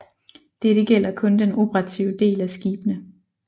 Dette gælder kun den operative del af skibene